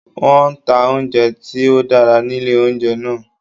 Wọ́n nta oúnjẹ tí ó dára nílé oúnjẹ náà